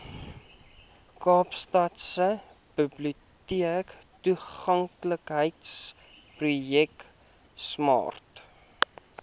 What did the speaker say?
kaapstadse biblioteektoeganklikheidsprojek smart